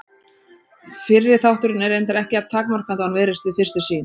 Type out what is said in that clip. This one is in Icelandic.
Fyrri þátturinn er reyndar ekki jafn takmarkandi og hann virðist við fyrstu sýn.